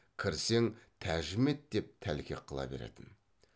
кірсең тәжім ет деп тәлкек қыла беретін